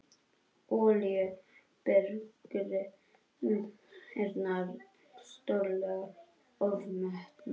Olíubirgðirnar stórlega ofmetnar